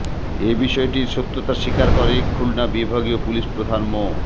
এ বিষয়টির সত্যতা স্বীকার করে খুলনা বিভাগীয় পুলিশ প্রধান মো